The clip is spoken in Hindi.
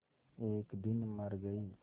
एक दिन मर गई